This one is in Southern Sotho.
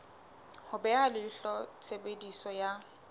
ho beha leihlo tshebediso ya